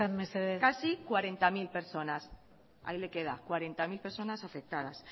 mesedez casi cuarenta mil personas ahí le queda cuarenta mil personas afectadas